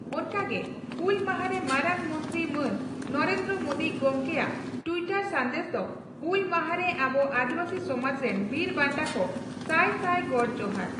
ᱚᱱᱠᱟ ᱜᱮ ᱦᱩᱞ ᱢᱟᱦᱟᱨᱮ ᱢᱟᱨᱟᱝ ᱢᱚᱱᱛᱨᱤ ᱢᱟᱱ ᱱᱚᱨᱮᱱᱫᱨᱚ ᱢᱚᱫᱤ ᱜᱚᱢᱠᱮ ᱭᱟᱜ ᱴᱤᱭᱴᱚᱨ ᱥᱟᱱᱫᱮᱥ ᱫᱚ ᱺ ᱦᱩᱞ ᱢᱟᱦᱟ ᱨᱮ ᱟᱵᱚ ᱟᱹᱫᱤᱵᱟᱹᱥᱤ ᱥᱚᱢᱟᱡᱽ ᱨᱮᱱ ᱵᱤᱨ ᱵᱟᱱᱴᱟ ᱠᱚ ᱥᱟᱭ ᱥᱟᱭ ᱜᱚᱰ ᱡᱚᱦᱟᱨ ᱾